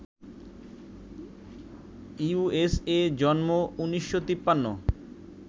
USA, জন্ম ১৯৫৩